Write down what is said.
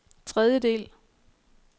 tredjedel